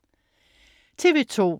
TV2: